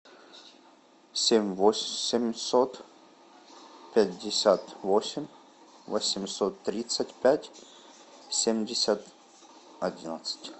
семь восемьсот пятьдесят восемь восемьсот тридцать пять семьдесят одиннадцать